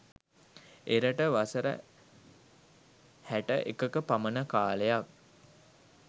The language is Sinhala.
එරට වසර හැට එකක පමණ කාලයක්